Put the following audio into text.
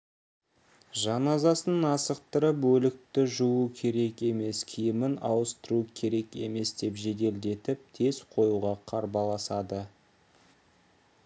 жаназасын асықтырып өлікті жуу керек емес киімін ауыстыру керек емес деп жеделдетіп тез қоюға қарбаласады